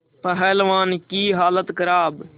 पहलवान की हालत खराब